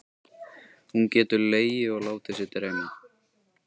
Hún getur legið og látið sig dreyma.